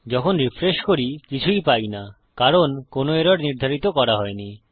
যখন রিফ্রেশ করি কিছুই পাই না কারণ কোনো এরর নির্ধারিত করা হয়নি